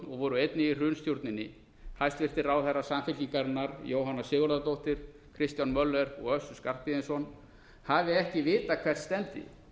voru einnig í hrunstjórninni hæstvirtir ráðherrar samfylkingarinnar jóhanna sigurðardóttir kristján möller og össur skarphéðinsson hafi ekki vitað hvert stefndi